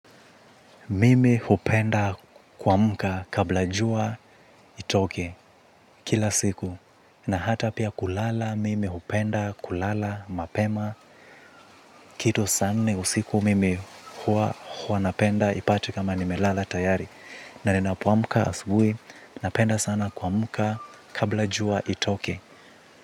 Mimi hupenda kuamka kabla jua itoke kila siku. Na hata pia kulala mimi hupenda kulala mapema. Kitu saa nne usiku mimi huwa napenda ipate kama nimelala tayari. Na ninapo amka asubui napenda sana kuamka kabla jua itoke.